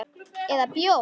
Eða bjó.